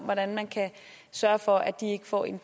hvordan man kan sørge for at de ikke får en